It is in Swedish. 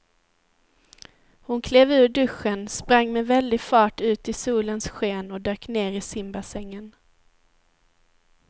Hon klev ur duschen, sprang med väldig fart ut i solens sken och dök ner i simbassängen.